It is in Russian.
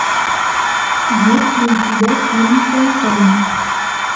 есть ли у тебя фильм фонтан